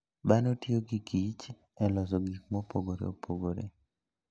Dhano tiyo gi kich e loso gik mopogore opogore.